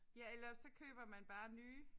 Ja eller også så køber man bare nye